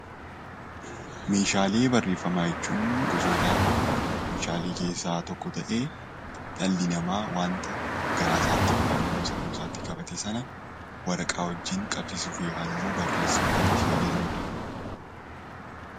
Meeshaalee barreeffamaa jechuun gosoota meeshaalee keessaa tokko ta'ee dhalli namaa wanta garaa isaa yookiin sammuu isaatti qabate sana waraqaa wajjin qabsiisuuf yookiin barreessuuf kan itti fayyadamnudha.